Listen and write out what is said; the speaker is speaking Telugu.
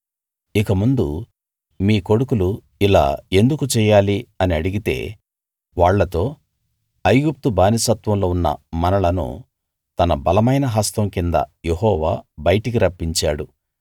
ఇకముందు మీ కొడుకులు ఇలా ఎందుకు చెయ్యాలి అని అడిగితే వాళ్ళతో ఐగుప్తు బానిసత్వంలో ఉన్న మనలను తన బలమైన హస్తం కింద యెహోవా బయటికి రప్పించాడు